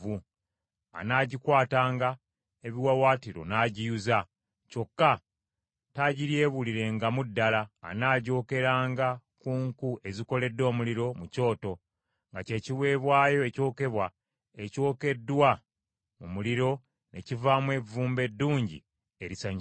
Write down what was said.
Anaagikwatanga ebiwaawaatiro n’agiyuza; kyokka taagiryebulirengamu ddala. Anaagyokeranga ku nku ezikoledde omuliro mu kyoto; nga kye kiweebwayo ekyokebwa ekyokeddwa mu muliro ne kivaamu evvumbe eddungi erisanyusa Mukama .